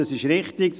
Das ist richtig.